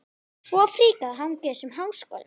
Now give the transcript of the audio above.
Svo fríkað að hanga í þessum háskólum!